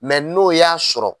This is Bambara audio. n'o y'a sɔrɔ.